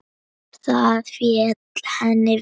Það féll henni vel.